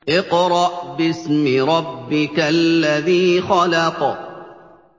اقْرَأْ بِاسْمِ رَبِّكَ الَّذِي خَلَقَ